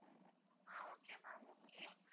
ah okay ma'am okay